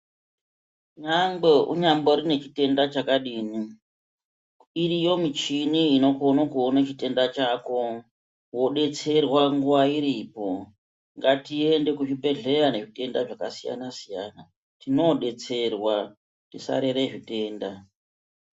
Nyangwe unyambori nechitenda chakadini iriyo michini inokone kuone chitenda chako wodetserwa nguwa iripo ngatiende kuzvibhedhlera nezvitenda zvakasiyana siyana tinoodetserwa tisarere zvitenda.